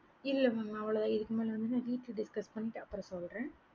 இல்லல mam அவ்வளோ தான் இதுக்கு மேல வீடுல discuss பண்ணிட்டு சொல்லுறேன்